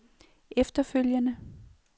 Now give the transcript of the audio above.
efterfølgende